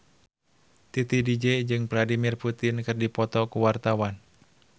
Titi DJ jeung Vladimir Putin keur dipoto ku wartawan